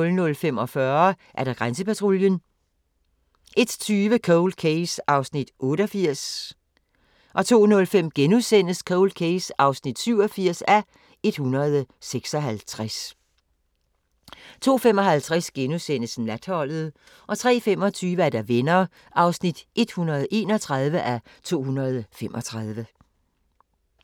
00:45: Grænsepatruljen 01:20: Cold Case (88:156) 02:05: Cold Case (87:156)* 02:55: Natholdet * 03:25: Venner (131:235)